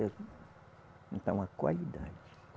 Então a qualidade.